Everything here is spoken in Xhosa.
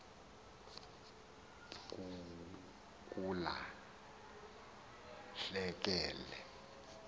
kula hleke le